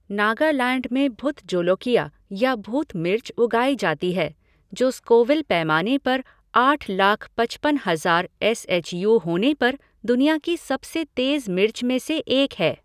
नगालैंड में भुत जोलोकिया या भूत मिर्च उगाई जाती है, जो स्कोविल पैमाने पर आठ लाख पचपन हजार एस एच यू होने पर दुनिया की सबसे तेज़ मिर्च में से एक है।